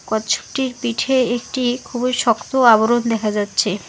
কচ্ছপটির পিঠে একটি খুবই শক্ত আবরণ দেখা যাচ্ছে।